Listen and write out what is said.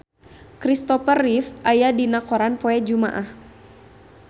Kristopher Reeve aya dina koran poe Jumaah